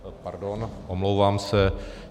Pardon, omlouvám se.